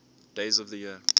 days of the year